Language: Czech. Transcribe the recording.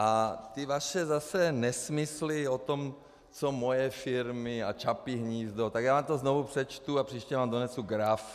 A ty vaše zase nesmysly o tom, co moje firmy a Čapí hnízdo, tak já vám to znovu přečtu a příště vám donesu graf.